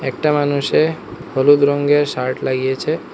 একটা মানুষে হলুদ রঙ্গের শার্ট লাগিয়েছে।